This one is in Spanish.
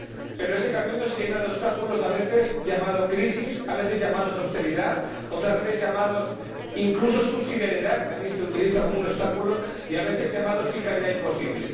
Pero ese camino se llena de obstáculos a veces llamados crisis, a veces llamados austeridad, otras veces llamados incluso subsidiariedad que también se utiliza como obstáculo y a veces llamados fiscalidad imposible.